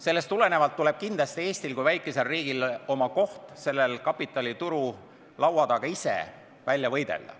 Sellest tulenevalt tuleb kindlasti Eestil kui väikesel riigil oma koht selle kapitalituru laua taga ise välja võidelda.